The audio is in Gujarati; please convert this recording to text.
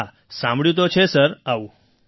હા સાંભળ્યું તો છે સર આવું